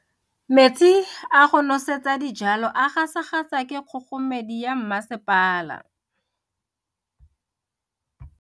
Metsi a go nosetsa dijalo a gasa gasa ke kgogomedi ya masepala.